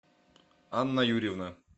анна юрьевна